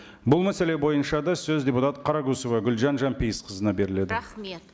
бұл мәселе бойынша да сөз депутат қарақұсова гүлжан жанпейісқызына беріледі рахмет